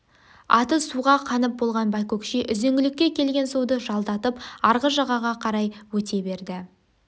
аты суға қанып болған байкөкше үзеңгілікке келген суды жалдатып арғы жағаға қарай өте берді